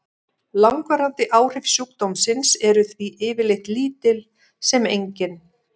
Langvarandi áhrif sjúkdómsins eru því yfirleitt lítil sem engin.